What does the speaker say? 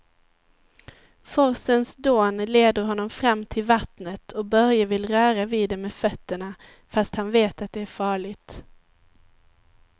Forsens dån leder honom fram till vattnet och Börje vill röra vid det med fötterna, fast han vet att det är farligt.